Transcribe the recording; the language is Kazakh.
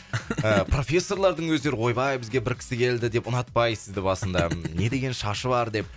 профессорлардың өздері ойбай бізге бір кісі келді деп ұнатпай сізді басында не деген шашы бар деп